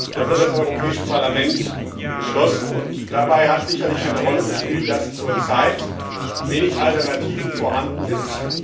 Das hat das Europäische Parlament beschlossen, und dabei hat sicherlich eine Rolle gespielt, dass zurzeit wenige Alternativen vorhanden sind.